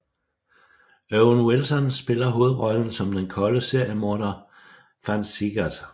Owen Wilson spiller hovedrollen som den kolde seriemorder Vann Siegert